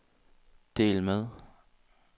del med